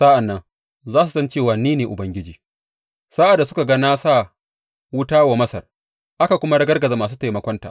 Sa’an nan za su san cewa ni ne Ubangiji, sa’ad da suka ga na sa wuta wa Masar aka kuma ragargaza masu taimakonta.